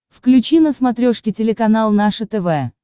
включи на смотрешке телеканал наше тв